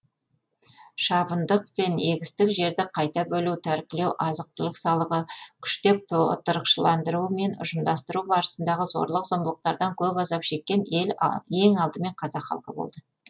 шабындық және егістік жерді қайта бөлу тәркілеу азық түлік салығы күштеп отырықшыландыру мен ұжымдастыру барысындағы зорлық зомбылықтардан көп азап шеккен ең алдымен қазақ халқы болды